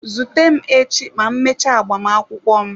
Zute m echi ma m mechaa agbamakwụkwọ m.